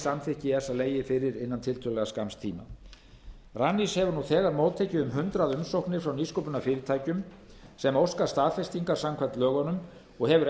samþykki esa legið fyrir innan tiltölulega skamms tíma rannís hefur nú þegar móttekið um hundrað umsóknir frá nýsköpunarfyrirtækjum sem óska staðfestingar samkvæmt lögunum og hefur